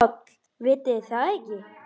PÁLL: Vitið þið það ekki?